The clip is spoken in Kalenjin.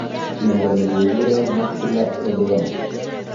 Miondo ni keguure macular edema